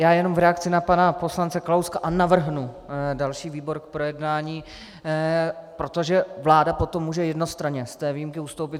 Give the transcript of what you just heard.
Já jenom v reakci na pana poslance Kalouska - a navrhnu další výbor k projednání, protože vláda potom může jednostranně z té výjimky ustoupit.